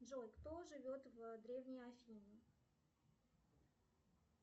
джой кто живет в древние афины